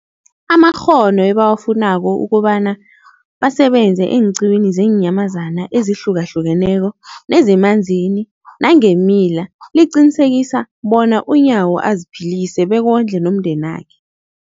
amakghono ebawafunako ukobana basebenze eenqiwini zeenyamazana ezihlukahlukeneko nezemanzini nangeemila, liqinisekisa bona uNyawo aziphilise bekondle nomndenakhe.